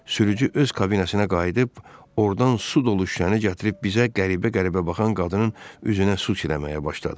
Sürücü öz kabinəsinə qayıdıb, ordan su dolu şüşəni gətirib bizə qəribə-qəribə baxan qadının üzünə su çiləməyə başladı.